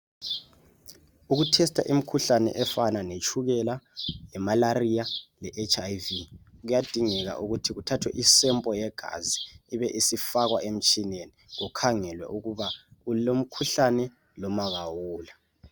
Ukuthesta imikhuhlane efana letshukela lemalaria le HIV kuyadingekala ukuthi kuthathwe I sample yegazi ibe isifakwa emtshineni kukhangelwe ukuba ulomkhuhlane noma awula.